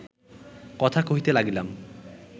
কথা কহিতে লাগিলাম